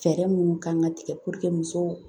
Fɛɛrɛ minnu kan ka tigɛ musow